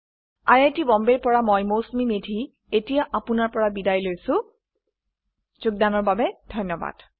I I T Bombay ৰ পৰা মই মৌচুমী মেধী এতিয়া আপুনাৰ পৰা বিদায় লৈছো যোগদানৰ বাবে ধন্যবাদ